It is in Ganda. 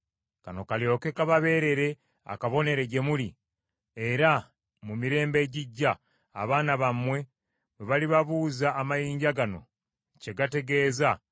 Kano kalyoke kababeerere akabonero gye muli era mu mirembe ejijja, abaana bammwe bwe balibabuuza amayinja gano kye gategeeza,